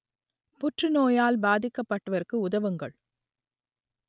புற்றுநோயால் பாதிக்கப்பட்டவருக்கு உதவுங்கள்